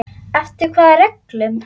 Eftir hvaða reglum?